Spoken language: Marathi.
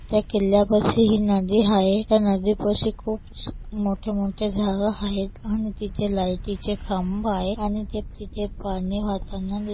त्या किल्ल्यापाशी ही नदी हाये त्या नदीपाशी खूप मोठेमोठे झाड हायेत आणि तिथ लाइटीचे खांब हाये आणि ते तिथ पाणी वाहताना दि--